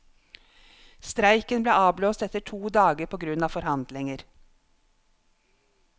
Streiken ble avblåst etter to dager på grunn av forhandlinger.